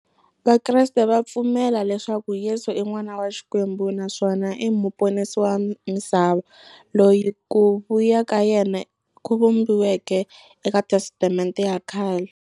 Vakreste va pfumela leswaku Yesu i n'wana wa Xikwembu naswona i muponisi wa misava, loyi ku vuya ka yena ku vhumbiweke eka Testamente ya khale.